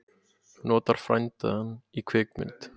Notar frændann í kvikmynd